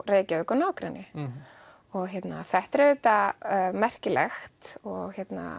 Reykjavík og nágrenni þetta er auðvitað merkilegt og